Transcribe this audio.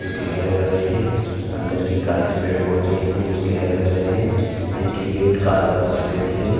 जोकि हरे-भरे हैं। अंदर भी काफी पेड़-पोधे हैं जो कि हरे-भरे हैं। एन्ट्री गेट काला और सफ़ेद है।